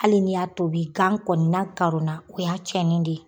Hali ni y'a tobi gan kɔni na karonna o y'a cɛnni ne ye